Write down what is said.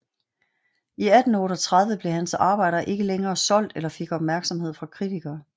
I 1838 blev hans arbejder ikke længere solgt eller fik opmærksomhed fra kritikere